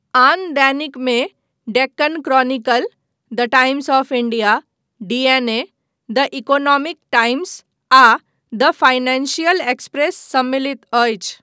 आन दैनिकमे Deccan Chronicle, the Times of India, DNA, the Economic Times, आ द फाइनेंशियल एक्सप्रेस सम्मिलित अछि।